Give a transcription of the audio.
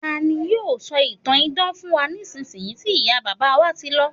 tani yíò sọ ìtàn idán fún wa nisinyi ti iya baba wa ti lọ